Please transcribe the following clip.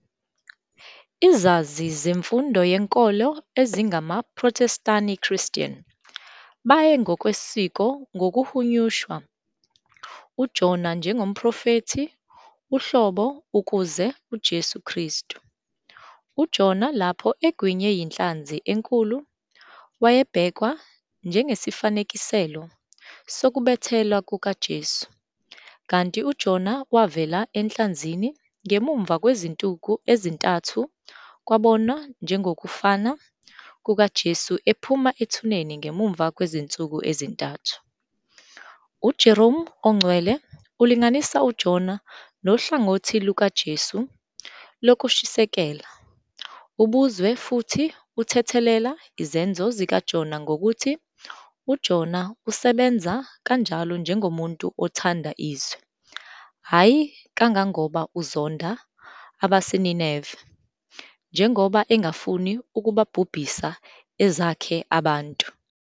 Izazi zemfundiso yenkolo ezingamaProthestani Christian baye ngokwesiko ngokuhunyushwa uJona njengomprofethi uhlobo ukuze uJesu Kristu. UJona lapho egwinywe yinhlanzi enkulu wayebhekwa njengesifanekiselo sokubethelwa kukaJesu kanti uJona wavela enhlanzini ngemuva kwezinsuku ezintathu kwabonwa njengokufana kukaJesu ephuma ethuneni ngemuva kwezinsuku ezintathu. UJerome oNgcwele ulinganisa uJona nohlangothi lukaJesu lokushisekela ubuzwe futhi uthethelela izenzo zikaJona ngokuthi "uJona usebenza kanjalo njengomuntu othanda izwe, hhayi kangangoba uzonda abaseNineve, njengoba engafuni ukubhubhisa ezakhe abantu.